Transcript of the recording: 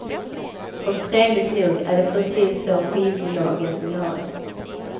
Och trevligt nog är det precis så skivbolagen vill ha det.